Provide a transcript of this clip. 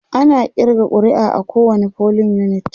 ana ƙirga ƙuri'a a kowani polling unit